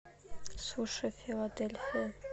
суши филадельфия